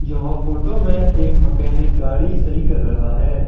जहां फोटो में एक मैकेनिक गाड़ी सही कर रहा है।